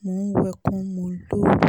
mo ń wẹkùn mú lóru